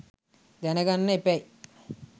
දැන ගන්න එපැයි.